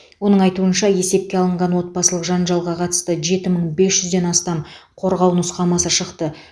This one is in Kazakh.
оның айтуынша есепке алынған отбасылық жанжалға қатысты жеті мың бес жүзден астам қорғау нұсқамасы шықты